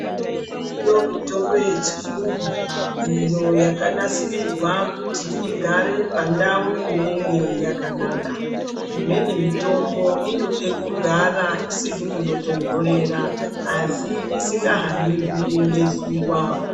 Iriyo mitombo yechirungu iyo yakanaisirirwa kuti igare pandau inenge yakanaka. Imweni mitombo inode kugara isiri munotonherera asi asingahanirwi ngezuwa